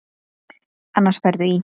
Annars ferðu í.